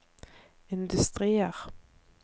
industrier